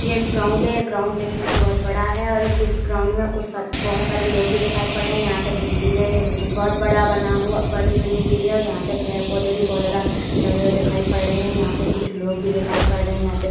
ये एक ग्राउंड है। ग्राउंड देखने मे बोहोत बड़ा है और इ इस ग्राउंड में कुछ सारे बोहोत सारे लोग भी दिखाई पड़ रहा है। यहाँ पे बिल्डिंग है। ये बिल्डिंग बोहोत बड़ा बना हुआ बड़ी बनी हुई है। यहां पे पेड़ पौधे भी बोहोत ज्यादा लगे हुए दिखाई पड़ रहे हैं। यहाँ पे कुछ लोग भी दिखाई पड़ रहे हैं। या पे --